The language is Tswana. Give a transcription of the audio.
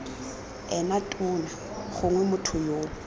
ena tona gongwe motho yoo